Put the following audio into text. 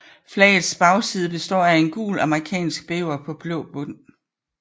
Flagets bagside består af en gul amerikansk bæver på blå bund